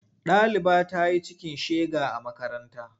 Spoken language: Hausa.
Ɗaliba ta yi cikin shega a makaranta.